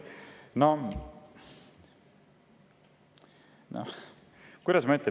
Kuidas ma ütlen?